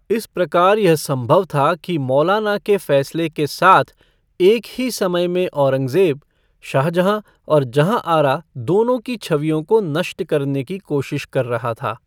इस प्रकार यह संभव था कि मौलाना के फैसले के साथ, एक ही समय में औरंगजेब, शाहजहां और जहांआरा दोनों की छवियों को नष्ट करने की कोशिश कर रहा था।